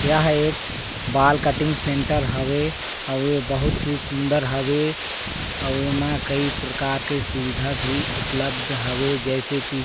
यहाँ एक बाल कटिंग सेंटर हवे और बहुत ही सुन्दर हवे उमा कई प्रकार के सुबिधा भी उपलब्ध हवे जैसे की--